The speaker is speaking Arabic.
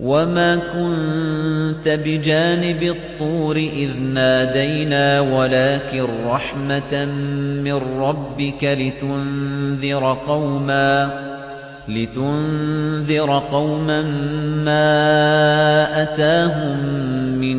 وَمَا كُنتَ بِجَانِبِ الطُّورِ إِذْ نَادَيْنَا وَلَٰكِن رَّحْمَةً مِّن رَّبِّكَ لِتُنذِرَ قَوْمًا مَّا أَتَاهُم مِّن